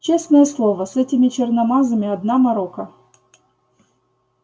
честное слово с этими черномазыми одна морока